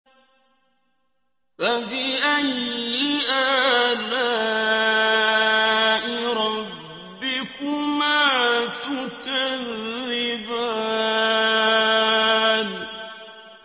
فَبِأَيِّ آلَاءِ رَبِّكُمَا تُكَذِّبَانِ